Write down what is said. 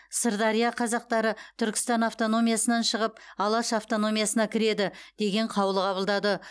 сырдария қазақтары түркістан автономиясынан шығып алаш автономиясына кіреді деген қаулы қабылдады